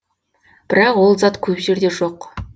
бірақ ол зат көп жерде жоқ